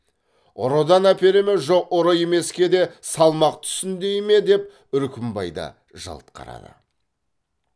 ұрыдан әпере ме жоқ ұры емеске де салмақ түссін дей ме деп үркімбай да жалт қарады